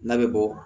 N'a bɛ bɔ